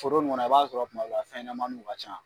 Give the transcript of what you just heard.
Foro in kɔnɔ, i b'a sɔrɔ kuma bɛɛ fɛnɲɛnamaniw ka ca.